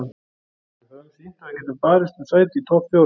Við höfum sýnt að við getum barist um sæti í topp fjórum.